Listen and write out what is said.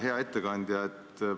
Hea ettekandja!